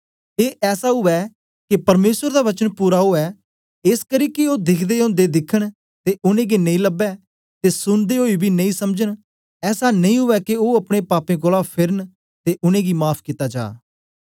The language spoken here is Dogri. ए ऐसा उवै के परमेसर दा वचन पूरा ओ एसकरी कि ओ दिखदे ओदे दिखन ते उनेंगी नेई लबै ते सुनदे ओई बी नेई समझन ऐसा नेई उवै के ओ अपने पाप्पें कोलां फेरन ते उनेंगी माफ़ कित्ता जा